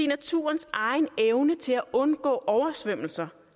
naturens egen evne til at undgå oversvømmelser